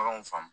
Baganw faamu